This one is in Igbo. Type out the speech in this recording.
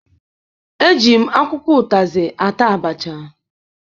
Eji m akwụkwọ ụtazị ata abacha.